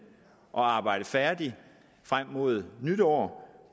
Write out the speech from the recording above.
og arbejdet færdigt frem mod nytår